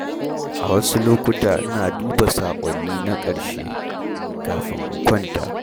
A wasu lokuta, ina duba saƙonni na ƙarshe kafin in kwanta.